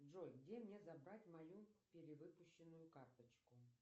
джой где мне забрать мою перевыпущенную карточку